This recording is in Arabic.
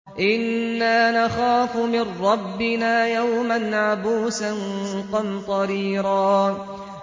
إِنَّا نَخَافُ مِن رَّبِّنَا يَوْمًا عَبُوسًا قَمْطَرِيرًا